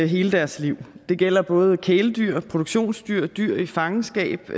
hele deres liv det gælder både kæledyr produktionsdyr dyr i fangenskab og